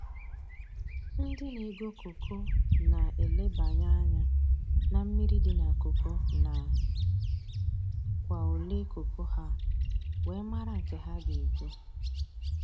Ndị na-ego koko na elebanye anya na mmiri dị na koko na kwa ole koko ha, wee mara nke ha ga-ego